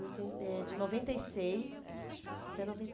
oiten eh de noventa e seis até noventa